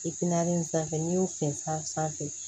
in sanfɛ n'i y'o sen san sanfɛ